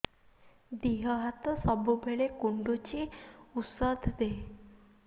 ଦିହ ହାତ ସବୁବେଳେ କୁଣ୍ଡୁଚି ଉଷ୍ଧ ଦେ